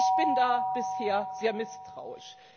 Ich bin da bisher sehr misstrauisch.